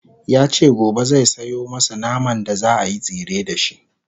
yace gobe zai Sayo masu naman da zaayi tsire da shi